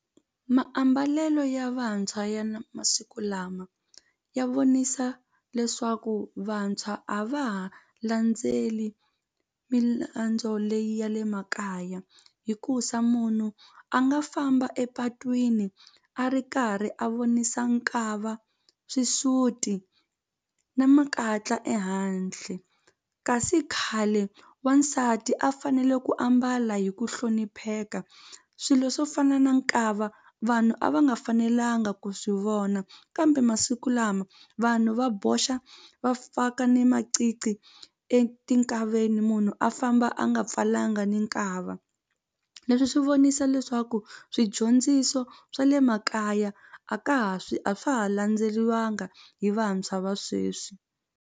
Maambalelo ya vantshwa ya na masiku lama ya vonisa leswaku vantshwa a va ha landzeli leyi ya le makaya hikusa munhu a nga famba epatwini a ri karhi a vonisa nkava xisuti na makatla ehandle kasi khale wansati a fanele ku ambala hi ku hlonipheka swilo swo fana na nkava vanhu a va nga fanelanga ku swi vona kambe masiku lama vanhu va boxa va faka ni maqiqi etinkaveni munhu a famba a nga pfalanga ni nkava leswi swi vonisa leswaku swidyondziso swa le makaya a ka ha swi a swa ha landzeleriwanga hi vantshwa va sweswi.